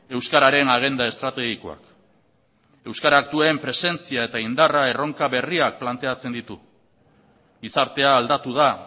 euskararen agenda estrategikoak euskarak duen presentzia eta indarra erronka berriak planteatzen ditu gizartea aldatu da